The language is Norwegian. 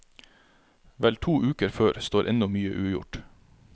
Vel to uker før står ennå mye ugjort.